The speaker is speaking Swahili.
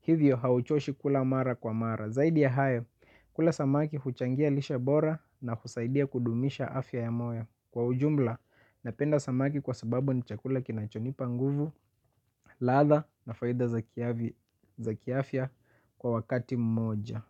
Hivyo, hauchoshi kula mara kwa mara. Zaidi ya hayo, kula samaki huchangia lishe bora na husaidia kudumisha afya ya moyo. Kwa ujumla, napenda samaki kwa sababu ni chakula kinachonipa nguvu, ladha na faida za kiafya kwa wakati mmoja.